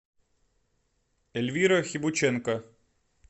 эльвира хибученко